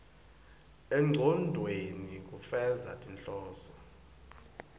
engcondvweni kufeza tinhloso